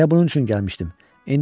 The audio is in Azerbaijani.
Elə bunun üçün gəlmişdim.